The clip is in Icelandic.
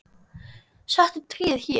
Settu tréð hér.